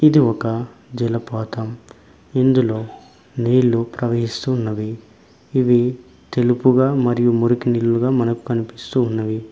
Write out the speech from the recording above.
ఇది ఒక జలపాతం ఇందులో నీళ్లు ప్రవహిస్తున్నవి ఇవి తెలుపుగా మరియు మురికి నీరుగా మనకు కనిపిస్తూ ఉన్నవి.